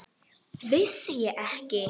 Vissi ég ekki!